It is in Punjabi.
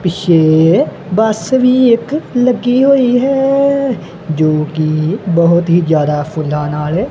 ਪਿੱਛੇ ਬੱਸ ਵੀ ਇੱਕ ਲੱਗੀ ਹੋਈ ਹੈ ਜੋ ਕੀ ਬਹੁਤ ਹੀ ਜਿਆਦਾ ਫੁੱਲਾਂ ਨਾਲ--